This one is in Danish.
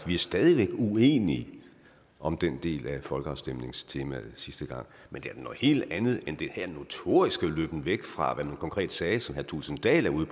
er stadig væk uenige om den del af folkeafstemningstemaet sidste gang men det er da noget helt andet end den her notoriske løben væk fra hvad man konkret sagde som herre thulesen dahl er ude